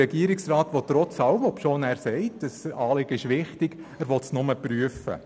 Der Regierungsrat will das von ihm wichtig erachtete Anliegen trotzdem nur prüfen.